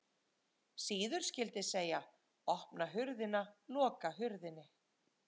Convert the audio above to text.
Síður skyldi segja: opna hurðina, loka hurðinni